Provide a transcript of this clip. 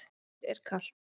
Mér er ekki kalt.